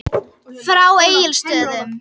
Frá Egilsstöðum.